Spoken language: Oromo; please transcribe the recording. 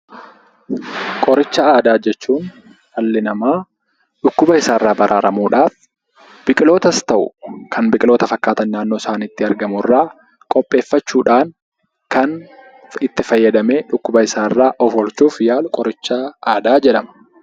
Qoricha aadaa jechuun dhalli namaa dhukkuba isaa irraa baraaramuudhaaf biqilootas ta'u kan biqiloota fakkaatan naannoo isaaniitti argamu irraa qopheeffachuudhaan kan itti fayyadamee dhukkuba isaarraa of oolchuuf yaalu qoricha aadaa jedhama.